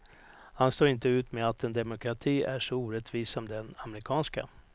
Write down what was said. Han står inte ut med att en demokrati är så orättvis som den amerikanska.